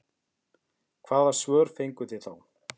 Hvaða svör fenguð þið þá?